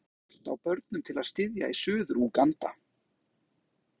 En hvað skýrir skort á börnum til að styðja í Suður-Úganda?